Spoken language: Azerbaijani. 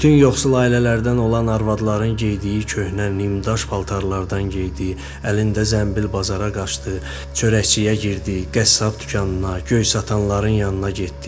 Bütün yoxsul ailələrdən olan arvadların geydiyi köhnə, nimdaş paltarlardan geydi, əlində zənbil bazara qaçdı, çörəkçiyə girdi, qəssab dükanına, göy satanların yanına getdi.